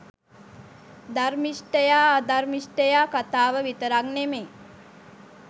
ධර්මිෂ්ඨයා අධර්මිෂ්ඨයා කතාව විතරක් නෙමෙයි